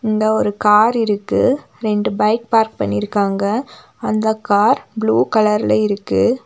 இந்த ஒரு கார் இருக்கு ரெண்டு பைக் பார்க் பண்ணிருக்காங்க அந்த கார் ப்ளூ கலர்ல இருக்கு.